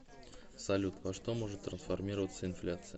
салют во что может трансформироваться инфляция